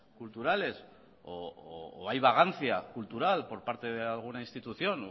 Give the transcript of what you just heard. culturales o hay vagancia cultural por parte de alguna institución